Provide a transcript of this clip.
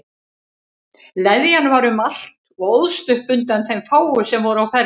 Leðjan var um allt og óðst upp undan þeim fáu sem voru á ferli.